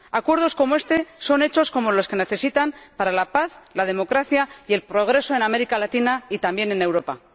Acuerdos como este son hechos que se necesitan para la paz, la democracia y el progreso en América Latina, y también en Europa.